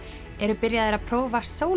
eru byrjaðir að prófa